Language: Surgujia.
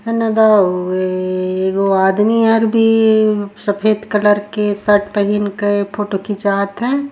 हैने जावे एगो आदमी आर भी सफ़ेद कलर के शर्ट पहिन कर फोटो खिचात हय।